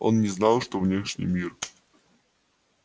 он не знал что внешний мир